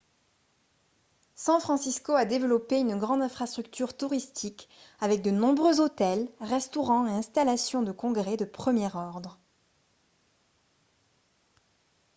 san francisco a développé une grande infrastructure touristique avec de nombreux hôtels restaurants et installations de congrès de premier ordre